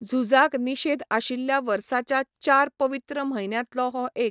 झुजाक निषेध आशिल्ल्या वर्साच्या चार पवित्र म्हयन्यांतलो हो एक.